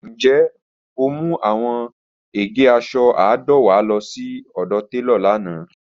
Njẹ o mu awọn ege aṣọ àádọ́wá lọ si telo lana?